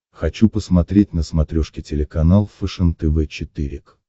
хочу посмотреть на смотрешке телеканал фэшен тв четыре к